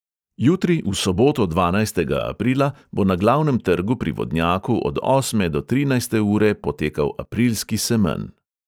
Jutri, v soboto dvanajstega aprila, bo na glavnem trgu pri vodnjaku od osme do trinajste ure potekal aprilski semenj.